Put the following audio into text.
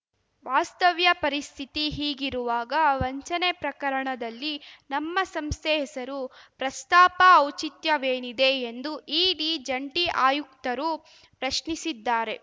ವಾಸ್ತವ್ಯ ಪರಿಸ್ಥಿತಿ ಹೀಗಿರುವಾಗ ವಂಚನೆ ಪ್ರಕರಣದಲ್ಲಿ ನಮ್ಮ ಸಂಸ್ಥೆ ಹೆಸರು ಪ್ರಸ್ತಾಪ ಔಚಿತ್ಯವೇನಿದೆ ಎಂದು ಇಡಿ ಜಂಟಿ ಆಯುಕ್ತರು ಪ್ರಶ್ನಿಸಿದ್ದಾರೆ